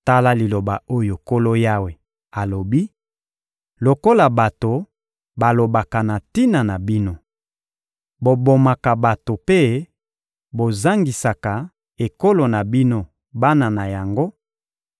Tala liloba oyo Nkolo Yawe alobi: Lokola bato balobaka na tina na bino: Bobomaka bato mpe bozangisaka ekolo na bino bana na yango;